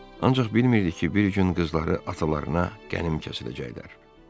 Ancaq bilmirdi ki, bir gün qızları atalarına qənim kəsiləcəklər.